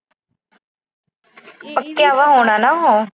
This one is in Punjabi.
ਪੱਕਿਆ ਵਾ ਹੋਣਾ ਨਾ ਉਹ।